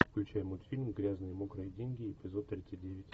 включай мультфильм грязные мокрые деньги эпизод тридцать девять